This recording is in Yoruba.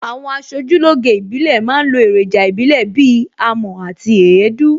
Àwọn aṣojúlóge ìbílẹ̀ ma ń lo èròjà ìbílè bíi amọ̀ àti èédú